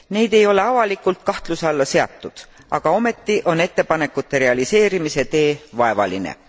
Need ei ole avalikult kahtluse alla seatud, aga ometi on ettepanekute realiseerimise tee vaevaline.